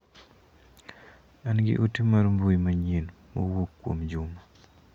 An gi ote mar mbui manyien mowuok kuom Juma.